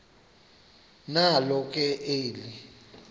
nalo ke eli